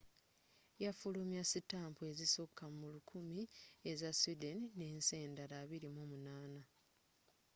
yafulumya sitampu ezisuka mu 1000 eza sweden n'ensi endala 28